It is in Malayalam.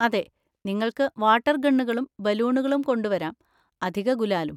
അതെ, നിങ്ങൾക്ക് വാട്ടർ ഗണ്ണുകളും ബലൂണുകളും കൊണ്ടുവരാം, അധിക ഗുലാലും.